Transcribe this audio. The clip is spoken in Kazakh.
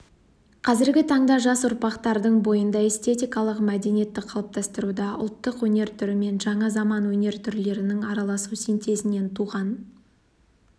қазіргі таңда жас ұрпақтардың бойында эстетикалық мәдениетті қалыптастыруда ұлттық өнер түрімен жаңа заман өнер түрлерінің араласу синтезінен туған